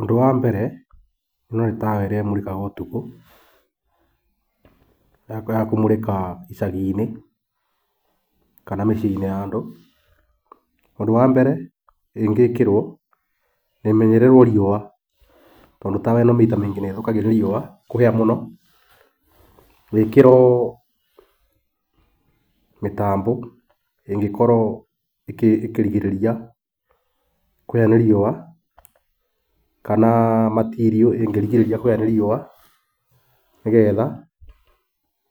Ũndũ wa mbere ĩno nĩ tawa ĩrĩa ĩmũrĩkaga ũtukũ. ĩkoragwo ya kũmũrĩka icagi-inĩ kana mĩciĩ-inĩ ya andũ. Ũndũ wa mbere, ĩngĩkĩrwo na ĩmenyererwo riũa tondũ tawa ĩno maita maingĩ nĩĩthũkagio nĩ riũa kũhĩa mũno, ĩkĩrwo mĩtambo ĩngĩkorwo ĩkĩrigĩrĩria kũhĩa nĩ riũa kana matirio ĩngĩrigĩrĩria kũhĩa nĩ riũa, nĩgetha